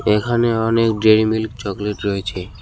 এখানে অনেক Dairy Milk chocolate রয়েছে।